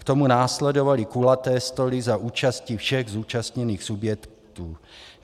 K tomu následovaly kulaté stoly za účasti všech zúčastněných subjektů.